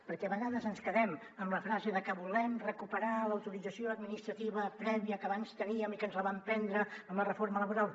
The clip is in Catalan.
perquè a vegades ens quedem amb la frase de que volem recuperar l’autorització administrativa prèvia que abans teníem i que ens la van prendre amb la reforma laboral